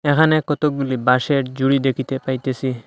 এখানে কতগুলি বাঁশের জুড়ি দেখিতে পাইতেসি।